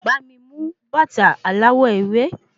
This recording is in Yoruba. Bá mi mú bàta aláwọ̀ ewé